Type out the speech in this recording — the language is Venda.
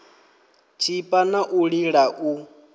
tshipa na u lila u